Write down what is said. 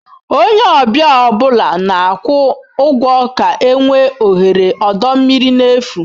Onye ọbịa ọ bụla na-akwụ ụgwọ ga-enwe ohere ọdọ mmiri n'efu.